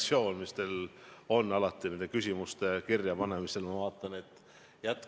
Te olete alati küsimuste kirjapanemisel näidanud head reaktsioonikiirust.